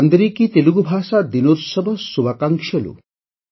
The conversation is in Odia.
ଅନ୍ଦରିକୀ ତେଲଗୁ ଭାଷା ଦିନୋତ୍ସବ ଶୁଭାକାଂକ୍ଷଲୁ